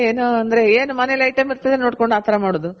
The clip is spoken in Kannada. ನಾವಂದ್ರೆ ಏನು ಅಂದ್ರೆ ಏನ್ ಮನೇಲ್ item ಇರ್ತದೋ ನೋಡ್ಕೊಂಡ್ ಆ ತರ ಮಾಡೋದು